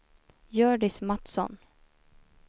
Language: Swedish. Hjördis Mattsson